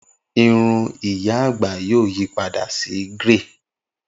Irun iya agba yoo yipada si grẹy